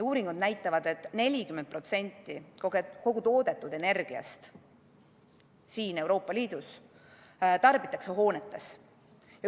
Uuringud näitavad, et 40% kogu Euroopa Liidus toodetud energiast tarbitakse hoonetes.